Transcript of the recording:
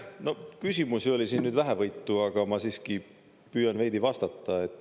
No küsimusi oli siin nüüd vähevõitu, aga ma siiski püüan veidi vastata.